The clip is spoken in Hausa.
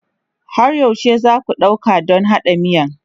Har yaushe za ku ɗauka don haɗa miyan?